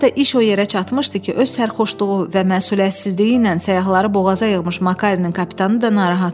Hətta iş o yerə çatmışdı ki, öz sərxoşluğu və məsuliyyətsizliyi ilə səyahətləri boğaza yığmış Makarenin kapitanı da narahat idi.